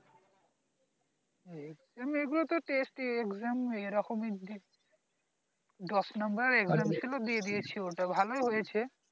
এমনি এই গুলো তো test exam এই রকম এরকম দশ নম্বরের exam ছিল দিয়ে দিয়েছি ওটা ভালোই হয়েছে